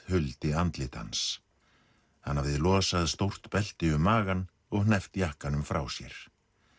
huldi andlit hans hann hafði losað stórt belti um magann og hneppt jakkanum frá sér